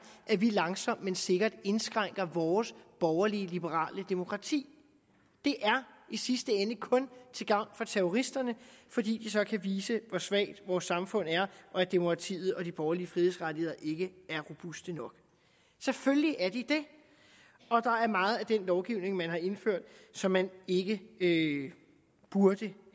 at vi langsomt men sikkert indskrænker vores borgerlige liberale demokrati er i sidste ende kun til gavn for terroristerne fordi de så kan vise hvor svagt vores samfund er og at demokratiet og de borgerlige frihedsrettigheder ikke er robuste nok selvfølgelig er de det og der er meget af den lovgivning man har indført som man ikke ikke burde